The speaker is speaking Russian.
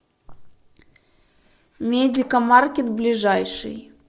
медикамаркет ближайший